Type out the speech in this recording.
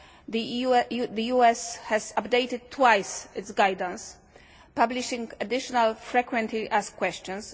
the US has updated twice its guidance, publishing additional frequently asked questions.